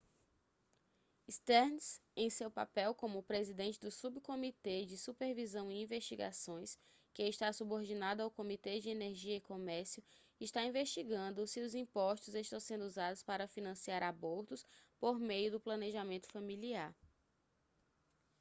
stearns em seu papel como presidente do subcomitê de supervisão e investigações que está subordinado ao comitê de energia e comércio está investigando se os impostos estão sendo usados para financiar abortos por meio do planejamento familiar